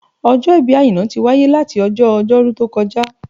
Ọjọ́ ìbí Àìná tí wáyé láti ọjọ́ Ọjọ́rú tó kọjá